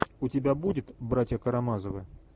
у тебя будет братья карамазовы